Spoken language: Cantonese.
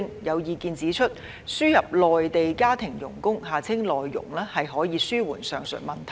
有意見指出，輸入內地家庭傭工可紓緩上述問題。